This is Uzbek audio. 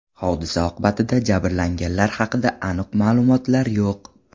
Hodisa oqibatida jabrlanganlar haqida aniq ma’lumotlar yo‘q.